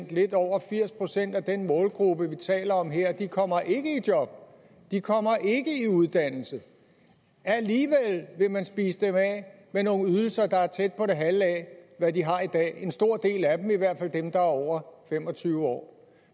at lidt over firs procent af den målgruppe vi taler om her ikke kommer i job ikke kommer i uddannelse alligevel vil man spise dem af med nogle ydelser der er tæt på det halve af hvad de har i dag en stor del af dem i hvert fald dem der er over fem og tyve år